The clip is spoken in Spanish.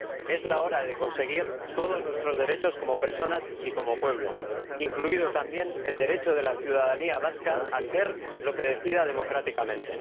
Es la hora de conseguir todos nuestros derechos como personas y como pueblo, incluido también el derecho de la ciudadanía vasca a ser lo que decida democráticamente.